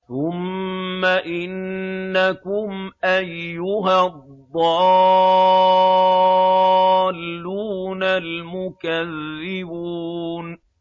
ثُمَّ إِنَّكُمْ أَيُّهَا الضَّالُّونَ الْمُكَذِّبُونَ